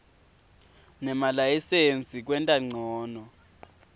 nemalayisensi kwenta ncono